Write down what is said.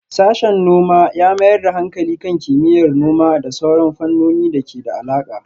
Sashen noma ya mayar da hankali kan kimiyyar noma da sauran fannonin da ke da alaƙa.